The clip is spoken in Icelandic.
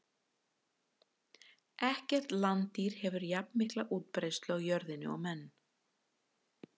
Ekkert landdýr hefur jafnmikla útbreiðslu á jörðinni og menn.